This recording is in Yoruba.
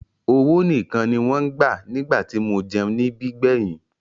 Owó nìkan ni wọ́n ń gbà nígbà tí mo jẹun níbí gbẹ̀yìn.